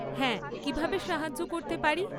হ্যাঁ, কীভাবে সাহায্য করতে পারি?